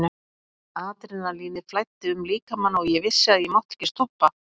Adrenalínið flæddi um líkamann og ég vissi að ég mátti ekki stoppa.